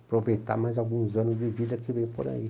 Aproveitar mais alguns anos de vida que vem por aí.